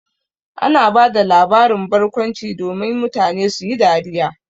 Ana ba da labaran barkwanci domin mutane su yi dariya.